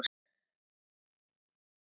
Ég nem staðar.